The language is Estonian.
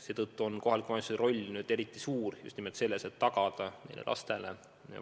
Seetõttu on kohaliku omavalitsuse roll eriti suur, et tagada lastele